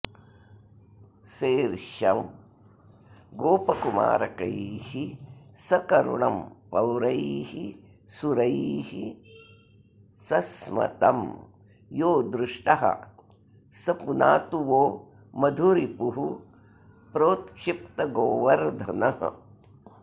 सेर्ष्यं गोपकुमारकैः सकरुणं पौरैः सुरैः सस्मतं यो दृष्टः स पुनातु वो मधुरिपुः प्रोत्क्षिप्तगोवर्धनः